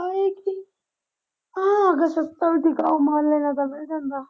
ਥੋਕ ਦਾ ਸਸਤਾ ਮਾਲ ਲਿਆ ਜਾਵੇ ਉਹ ਚੰਗਾ।